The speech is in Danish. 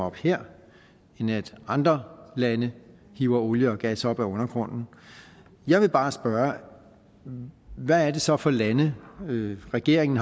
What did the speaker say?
op her end at andre lande hiver olie og gas op af undergrunden jeg vil bare spørge hvad det så er for lande regeringen